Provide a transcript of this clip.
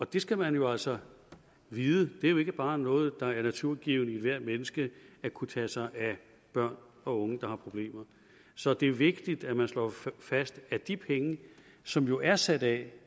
det skal man jo altså vide det er ikke bare noget der er naturgivent i ethvert menneske at kunne tage sig af børn og unge der har problemer så det er vigtigt at man slår fast at de penge som jo er sat af